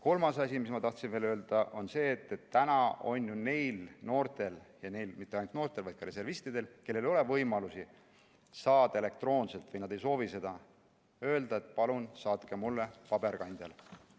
Kolmas asi, mis ma tahtsin veel öelda, on see, et neil noortel ja mitte ainult noortel, vaid ka reservistidel, kellel ei ole võimalust saada kutset elektroonselt või kes ei soovi seda, on võimalik ju öelda, et palun saatke mulle kutse paberkandjal.